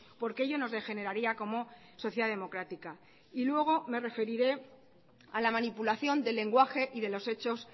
porque ello nos degeneraría como sociedad democrática y luego me referiré a la manipulación del lenguaje y de los hechos